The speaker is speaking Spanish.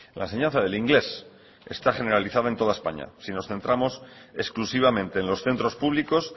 la enseñanza del inglés está generalizada en toda españa si nos centramos exclusivamente en los centros públicos